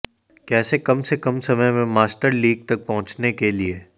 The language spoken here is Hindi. कैसे कम से कम समय में मास्टर लीग तक पहुँचने के लिए